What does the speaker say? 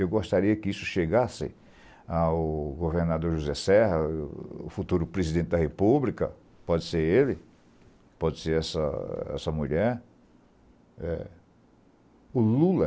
Eu gostaria que isso chegasse ao governador José Serra, a o futuro presidente da república, pode ser ele, pode ser essa essa mulher, eh, o Lula.